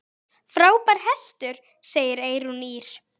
Frábær hestur, segir Eyrún Ýr.